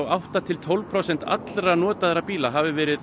átta til tólf prósent allra bíla hafi verið